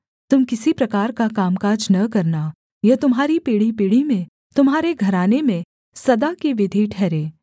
तुम किसी प्रकार का कामकाज न करना यह तुम्हारी पीढ़ीपीढ़ी में तुम्हारे घराने में सदा की विधि ठहरे